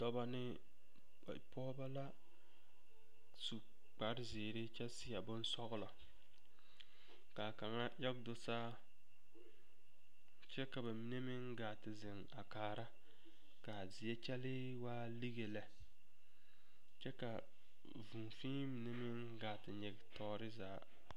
Dɔbɔ ne pɔgeba la su kpare zeere kyɛ seɛ bonsɔglɔ ka a kaŋa age do saa kyɛ ka bamine meŋ gaa a te zeŋ a kaara ka a zie kyɛlle waa lige lɛ kyɛ ka vūū fee mine meŋ gaa te nyige tɔɔre zaa.